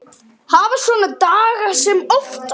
Hafa svona daga sem oftast.